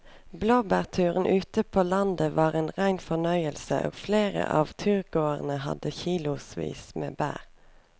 Blåbærturen ute på landet var en rein fornøyelse og flere av turgåerene hadde kilosvis med bær.